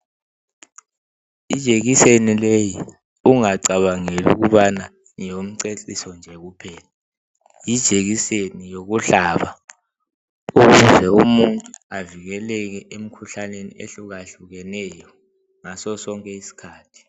Ijekiseni leyi ungacabangeli ukubana ngeyomceciso nje kuphela yijekiseni yokuhlaba ukuze umuntu avikeleke emikhuhlaneni ehlukahlukeneyo ngasosonke isikhathi.